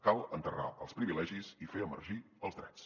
cal enterrar els privilegis i fer emergir els drets